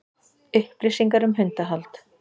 Upplýsingar um hundahald